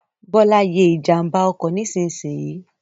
Bọ́lá ye ìjànbá ọkọ̀ nísinsìnyì